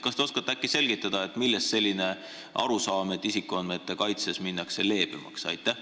Kas te oskate selgitada, millest selline arusaam, et isikuandmete kaitses minnakse leebemaks?